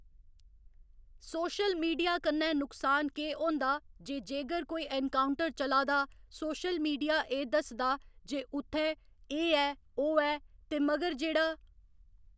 social media कन्नै नुकसान केह् होंदा जे जेगर कोई एनकाउंटर चला दा सोशल मीडिया एह् दस्सदा जे उत्थै एह्‌ ऐ ओह्‌ ऐ ते मगर जेह्ड़ा